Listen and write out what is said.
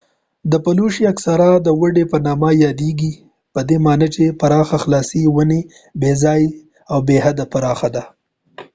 دا پلوشې اکثرا د وډي په نامه یادېږي پدې معنی چې پراخه خلاصه ونې بې ځایه ځای بې حد پراخه ده